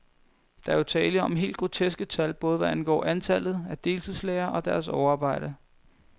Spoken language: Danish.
Der er jo tale om helt groteske tal, både hvad angår antallet af deltidslærere og deres overarbejde.